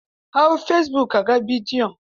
Hau fesibuk ka ga bidiyon.